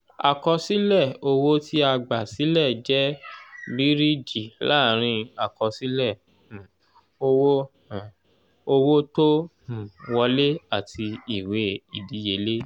àkọsílẹ̀ owó tí a gbà sílẹ̀ jẹ́ bíríìjí láàrin àkọsílẹ̀ um owó um owó tó um wolẹ́ àti ìwé ìdíyelé